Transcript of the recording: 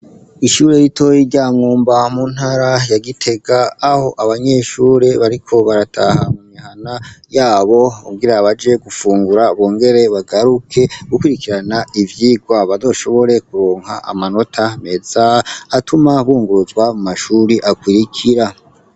Ishure ritoyi rya Mwumba mu ntara ya Gitega, aho abanyeshure bariko barataha mu mihana yabo, kugira baje gufungura bongere bagaruke gukurikirana ivyigwa bazoshobore kuronka amanota meza, atuma bunguruzwa mu mashure akurikira.